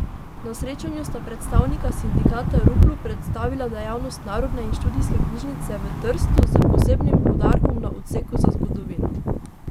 Na srečanju sta predstavnika sindikata Ruplu predstavila dejavnost Narodne in študijske knjižnice v Trstu, s posebnim poudarkom na odseku za zgodovino.